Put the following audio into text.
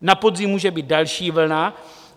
Na podzim může být další vlna.